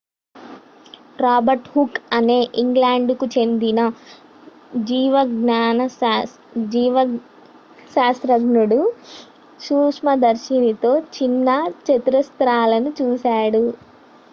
Robert Hooke అనే ఇంగ్లాండ్కు చెందిన జీవశాస్త్రజ్ఞుడు సూక్ష్మదర్శినితో చిన్న చతురస్రాలను చూశాడు